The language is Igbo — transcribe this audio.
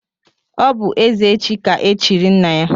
Ọ bú ezeji ka echiri nna ya.